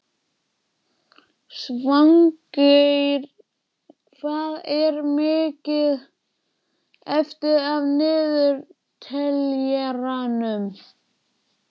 Svangeir, hvað er mikið eftir af niðurteljaranum?